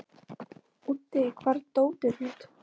Úddi, hvar er dótið mitt?